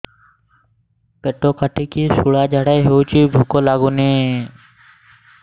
ପେଟ କାଟିକି ଶୂଳା ଝାଡ଼ା ହଉଚି ଭୁକ ଲାଗୁନି